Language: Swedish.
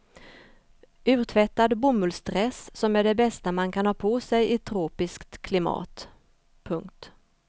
Urtvättad bomullsdress som är det bästa man kan ha på sej i tropiskt klimat. punkt